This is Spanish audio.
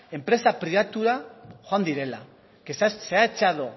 enpresa pribatura joan direla que se ha echado